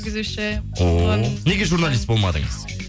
жүргізуші ооо неге журналист болмадыңыз